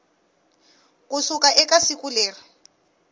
ku suka eka siku leri